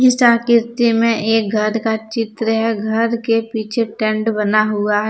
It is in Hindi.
आकिर्ति में एक घर का चित्र है घर के पीछे टेंट बना हुआ है।